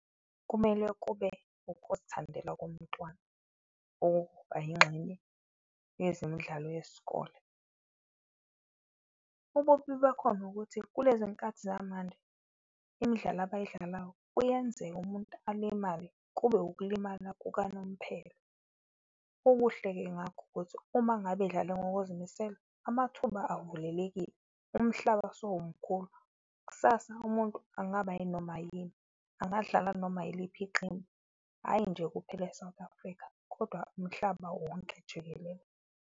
Kumele kube ukuzithandela komuntwana ukuba yingxenye yezemidlalo yesikole. Ububi bakhona ukuthi kulezi nkathi zamanje imidlalo abayidlalayo kuyenzeka umuntu alimale kube ukulimala kukanomphelo. Ubuhle-ke ngakho ukuthi uma ngabe edlale ngokuzimisela amathuba avulelekile, umhlaba sowumkhulu, kusasa umuntu angaba yini noma yini, angadlala noma yiliphi iqembu. Hhayi nje kuphela e-South Africa, kodwa umhlaba wonke jikelele.